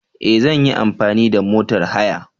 E! Zan yi amfani da motor haya.